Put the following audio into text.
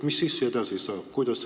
Mis siis edasi saab?